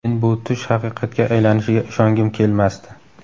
Men bu tush haqiqatga aylanishiga ishongim kelmasdi.